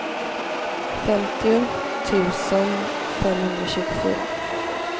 femtio tusen femhundratjugofyra